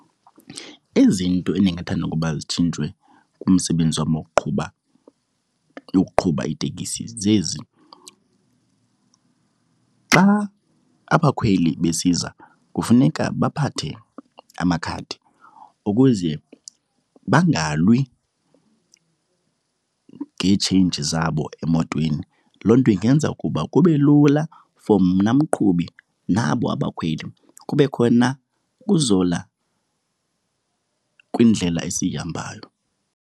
Izinto endingathanda ukuba zitshintshwe kumsebenzi wam wokuqhuba, yokuqhuba itekisi zezi. Xa abakhweli besiza kufuneka baphathe amakhadi ukuze bangalwi ngeetsheyinji zabo emotweni. Loo nto ingenza ukuba kube lula for mna mqhubi nabo abakhweli, kube khona ukuzola kwindlela esiyihambayo.